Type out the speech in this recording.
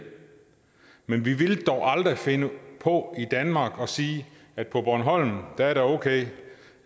men vi ville dog aldrig finde på i danmark at sige at på bornholm er det okay